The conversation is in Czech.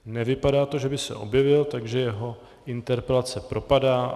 Nevypadá to, že by se objevil, takže jeho interpelace propadá.